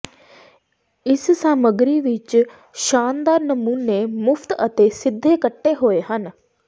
ਇਸ ਸਾਮੱਗਰੀ ਵਿੱਚ ਸ਼ਾਨਦਾਰ ਨਮੂਨੇ ਮੁਫ਼ਤ ਅਤੇ ਸਿੱਧੇ ਕੱਟੇ ਹੋਏ ਹਨ